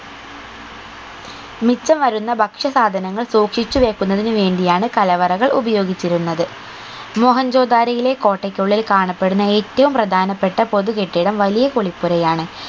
മിച്ചം വരുന്ന ഭക്ഷ്യ സാധനങ്ങൾ സൂക്ഷിച്ചു വെക്കുന്നതിനു വേണ്ടിയാണ് കലവറകൾ ഉപയോഗിച്ചിരുന്നത് മോഹൻജൊ ദാരോയിലെ കോട്ടക്കുള്ളിൽ കാണപ്പെടുന്ന ഏറ്റവും പ്രധാനപ്പെട്ട പൊതു കെട്ടിടം വലിയ കുളിപ്പുരയാണ്